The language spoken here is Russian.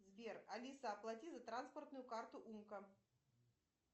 сбер алиса заплати за транспортную карту умка